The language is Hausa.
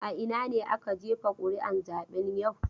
A ina ne aka jefa ƙuri'un zaben yau?